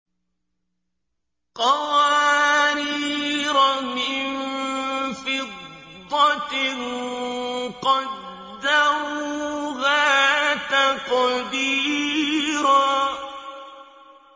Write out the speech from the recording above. قَوَارِيرَ مِن فِضَّةٍ قَدَّرُوهَا تَقْدِيرًا